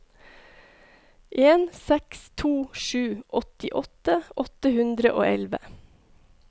en seks to sju åttiåtte åtte hundre og elleve